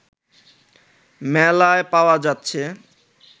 মেলায় পাওয়া যাচ্ছে